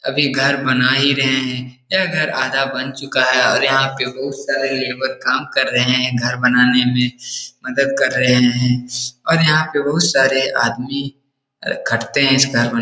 अभी घर बना ही रहे हैं । यह घर आधा बन चूका है और यहाँ पे बहुत सारे लेवर काम कर रहें हैं । घर बनाने में मदद कर रहें हैं और यहाँ पे बहुत सारे आदमी खटते हैं इस घर में ।